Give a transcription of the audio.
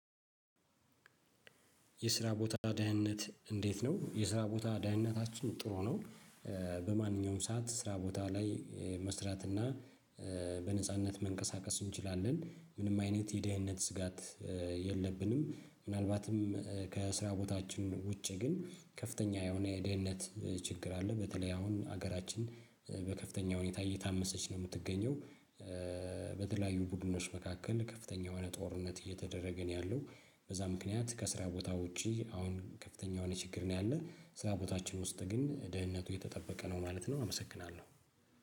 የስራ ቦታ ደህንነት እንዴት ነው የስራ ቦታ ደህንነታችን ጥሩ ነው። በማንኛውም ሰዓት ስራ ቦታ ላይ መስራትና በነጻነት መንቀሳቀስ እንችላለን ምንም አይነት የደህንነት ስጋት የለብንም። ምናልባትም ከስራ ቦታችን ውጪ ግን ከፍተኛ የሆነ የደህንነት ችግር አለ በተለይ አሁን ሀገራችን በከፍተኛ ሁኔታ እየታመሰች ነው የምትገኘው። በተለያዩ ቡድኖች መካከል ከፍተኛ የሆነ ጦርነት እየተደረገን ያለው በዛ ምክንያት ከስራ ቦታ ውጪ አሁን ከፍተኛ የሆነ ችግር ነው ያለው። ስራ ቦታችን ውስጥ ግን ደህንነቱ የተጠበቀ ነው ማለት ነው። አመሰግናለሁ